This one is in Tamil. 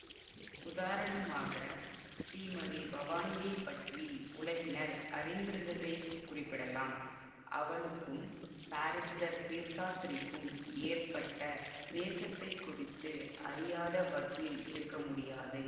உதாரணமாக ஸ்ரீமதி பவானியைப் பற்றி உலகினர் அறிந்திருந்ததைக் குறிப்பிடலாம் அவளுக்கும் பாரிஸ்டர் சேஸ்தாத்ரிக்கும் ஏற்பட்ட நேசத்தைக் குறித்து அறியாத வக்கீல் இருக்க முடியாது